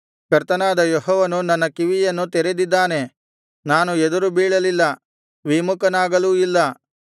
ಕರ್ತನಾದ ಯೆಹೋವನು ನನ್ನ ಕಿವಿಯನ್ನು ತೆರೆದಿದ್ದಾನೆ ನಾನು ಎದುರು ಬೀಳಲಿಲ್ಲ ವಿಮುಖನಾಗಲೂ ಇಲ್ಲ